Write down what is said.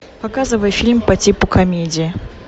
показывай фильм по типу комедия